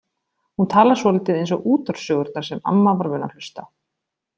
Hún talar svolítið eins og útvarpssögurnar sem amma var vön að hlusta á.